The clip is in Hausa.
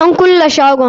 An kulle shagon.